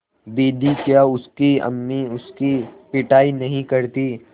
दीदी क्या उसकी अम्मी उसकी पिटाई नहीं करतीं